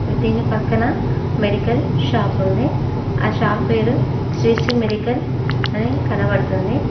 దీని పక్కన medical shop ఉంది ఆ షాప్ పేరు శ్రీ మెడికల్ అని కనబడుతుంది.